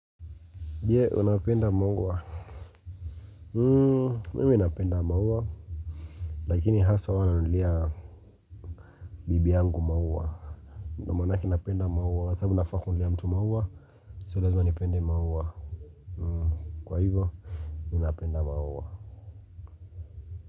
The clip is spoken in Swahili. Je, unapenda maua. Hmm, mimi napenda maua. Lakini hasa huwa nanulia bibi yangu maua. Ndio maanake napenda maua. Kwa sababu nafaa kununulia mtu maua. So, lazima nipende maua. Kwa hivyo, napenda maua.